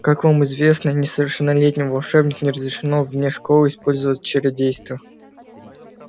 как вам известно несовершеннолетним волшебникам не разрешено вне школы использовать чародейство